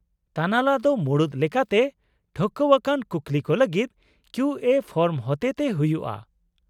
-ᱛᱟᱱᱟᱞᱟ ᱫᱚ ᱢᱩᱲᱩᱫ ᱞᱮᱠᱟᱛᱮ ᱴᱷᱟᱹᱣᱠᱟᱹᱣᱟᱠᱟᱱ ᱠᱩᱠᱞᱤ ᱠᱚ ᱞᱟᱹᱜᱤᱫ ᱠᱤᱭᱩ ᱮᱹ ᱯᱷᱚᱨᱢ ᱦᱚᱛᱮᱛᱮ ᱦᱩᱭᱩᱜᱼᱟ ᱾